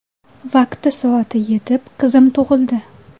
Vaqti soati yetib, qizim tug‘ildi.